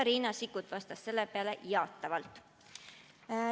Riina Sikkut vastas sellele jaatavalt.